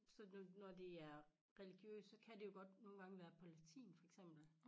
Så når når det er religiøs så kan det jo godt nogle gange være på latin for eksempel